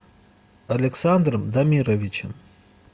александром дамировичем